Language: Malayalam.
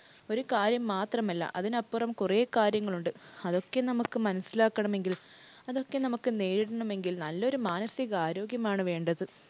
ഒരു കാര്യം മാത്രമല്ല, അതിനപ്പുറം കുറെ കാര്യങ്ങൾ ഉണ്ട്. അതൊക്കെ നമുക്ക് മനസ്സിലാക്കണമെങ്കിൽ, അതൊക്കെ നമുക്ക് നേരിടണമെങ്കിൽ, നല്ലൊരു മാനസിക ആരോഗ്യമാണ് വേണ്ടത്.